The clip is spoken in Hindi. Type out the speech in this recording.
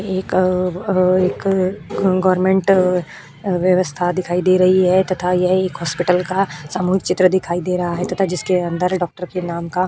एक अ-अ एक गवर्नमेंट-अ व्यवस्था दिखाई दे रही है तथा यह एक हॉस्पिटल का सामूहिक चित्र दिखाई दे रहा है तथा जिसके अंदर डॉक्टर के नाम का --